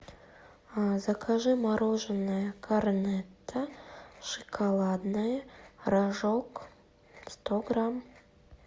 закажи мороженое корнетто шоколадное рожок сто грамм